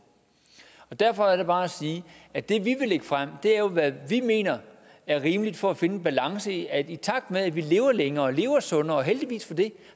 at derfor er der bare at sige at det vi vil lægge frem jo er hvad vi mener er rimeligt for at finde en balance i at vi i takt med at vi lever længere og lever sundere og heldigvis for det